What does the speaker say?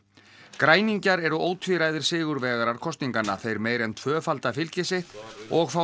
græningjar eru ótvíræðir sigurvegarar kosninganna þeir meira en tvöfalda fylgi sitt og fá